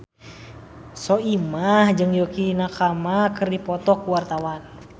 Soimah jeung Yukie Nakama keur dipoto ku wartawan